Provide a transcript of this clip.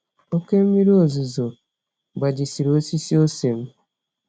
Oké mmírí ozuzo gbajisiri osisi ose m.